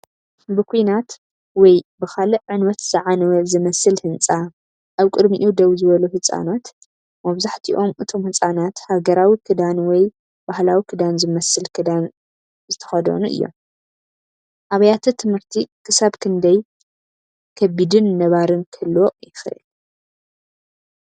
ብኲናት ወይ ብኻልእ ዕንወት ዝዓነወ ዝመስል ህንጻ፡ ኣብ ቅድሚኡ ደው ዝበሉ ህጻናት። መብዛሕትኦም እቶም ህጻናት ሃገራዊ ክዳን ወይ ባህላዊ ክዳን ዝመስል ክዳን ዝኽደኑ እዮም። ኣብያተ ትምህርቲ ክሳብ ክንደይ ከቢድን ነባሪን ክህልዎ ይኽእል?